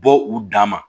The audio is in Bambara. Bɔ u dama